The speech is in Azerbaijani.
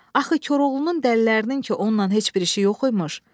Axı Koroğlunun dəllərinin ki onunla heç bir işi yox imiş.